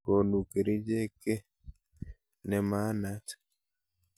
Konu kerichek ke nemanaat.